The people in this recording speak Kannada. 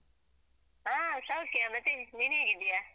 ಹಾ ಸೌಖ್ಯ ಮತ್ತೇ ನೀನ್ ಹೇಗಿದ್ದೀಯಾ?